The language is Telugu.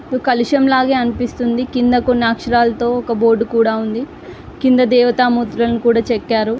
కలశంలాగే అనిపిస్తుందికింద కొన్ని అక్షరాలతో ఒక బోర్డ్ కూడా ఉందికింద దేవత మూర్తులను కూడా చెక్కారు.